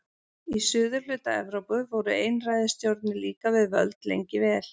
Í suðurhluta Evrópu voru einræðisstjórnir líka við völd lengi vel.